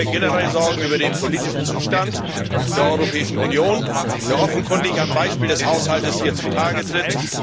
Ich mache mir generell Sorgen über den politischen Zustand der Europäischen Union, der offenkundig am Beispiel des Haushaltes hier zutage tritt.